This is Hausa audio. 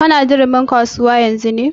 Ka na durumi modern market ne yanzun?